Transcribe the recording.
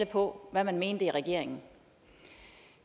på hvad man mente i regeringen